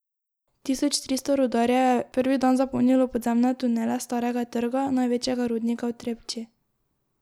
Tisoč tristo rudarjev je prvi dan zapolnilo podzemne tunele Starega trga, največjega rudnika v Trepči.